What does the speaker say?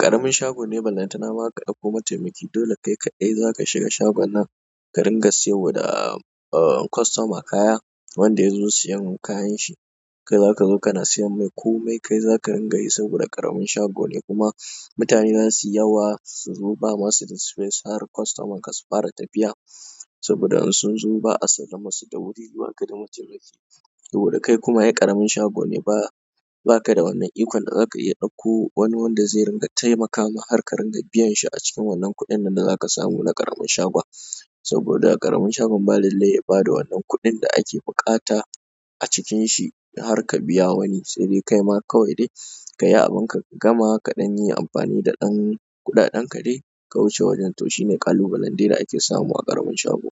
ƙaramin shago ne ballantana ma ka ɗauko mataimaki. Dole kai kaɗai za ka shiga shagon nan ka ringa siyarwa da aaah customer kaya wanda ya zo siyan kayanshi. Kai zaka zo kana sayar mai koma kai za ka rin ga yi saboda ƙaramin shago ne kuma mutane za su yi yawa su zo ba ma su da space har customern kasu fara tafiya. Saboda in sun zo ba a sallamar su da wuri ba ka mataimaki. Saboda kai kuma ai ƙaramin shago ne ba baka da wannan ikon da za ka iya ɗauko wani wanda zai ringa taimakama har ka ringa biyan shi a cikin wannan kuɗin nan da za ka samu na ƙaramin shagon. Saboda ƙaramin shagon ba lallai ya ba da wannan kuɗin da ake buƙata a cikin shi har ka biya wani, sai dai kai ma kawai dai ka yi abinka ka gama kaɗan yi amfani da ɗan kuɗaɗen ka dai ka wuce wajen. To shi ne ƙalubalen dai da ake samu a ƙaramin shago.